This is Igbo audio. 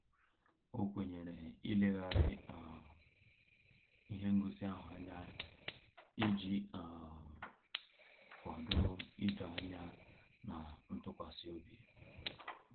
O kwenyere ileghari um ihe ngosi ahụ anya, iji um kwado ịdọ anya na ntụkwasịobi